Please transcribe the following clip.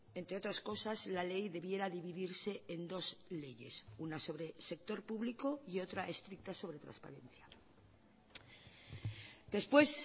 entre otras cosas la ley debiera dividirse en dos leyes una sobre el sector público y otra estricta sobre transparencia después